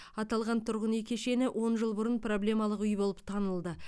аталған тұрғын үй кешені он жыл бұрын проблемалық үй болып танылды